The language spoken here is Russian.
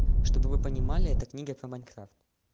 чтобы вы понимали это книга про майнкрафт